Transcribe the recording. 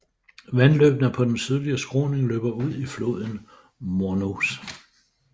Vandløbene på den sydlige skråning løber ud i floden Mornos